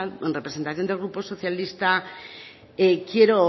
en representación del grupo socialista quiero